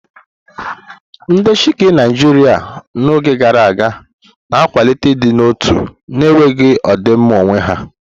Ndị Sikh Naijiria n'oge gara aga, na akwalite ịdị n'otu na enweghị ọdịmma onwe ya.